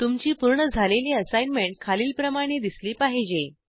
तुमची पूर्ण झालेली असाईनमेंट खालीलप्रमाणे दिसली पाहिजे